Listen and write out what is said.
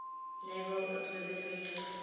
naval observatory took